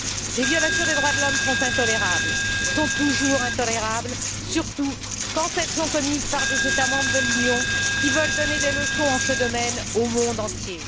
Les violations des droits de l'homme sont toujours intolérables, surtout quand elles sont commises par des États membres de l'Union qui veulent donner des leçons en ce domaine au monde entier.